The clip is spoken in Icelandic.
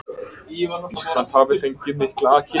Ísland hafi fengið mikla kynningu